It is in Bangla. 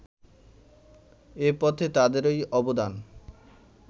এ পথে তাঁদেরই অবদান